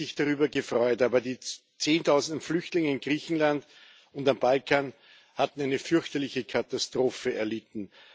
Viele haben sich darüber gefreut, aber die Zehntausende Flüchtlinge in Griechenland und auf dem Balkan haben eine fürchterliche Katastrophe erlitten.